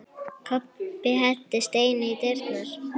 Kobbi henti steini í dyrnar.